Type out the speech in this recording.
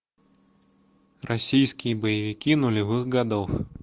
российские боевики нулевых годов